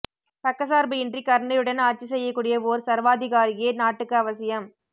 பக்கசார்பு இன்றி கருணையுடன் ஆட்சி செய்யக் கூடிய ஒர் சர்வாதிகாரியே நாட்டுக்கு அவசியம்